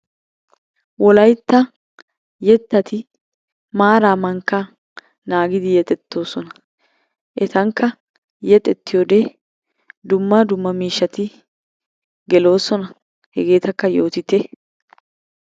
Wolaytta yettati maaraa mankkaa naagidi yexxettoosona, etankka yexxettiyode dumma dumma miishshati geloosona hegetakka yoottite.